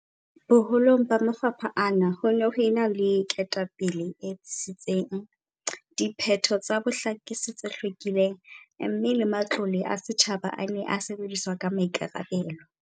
Boho long ba mafapha ana ho ne ho ena le ketapele e tsitsitseng, diphetho tsa bohlakisi tse hlwekileng mme le matlole a setjhaba a ne a sebediswa ka maikarabelo.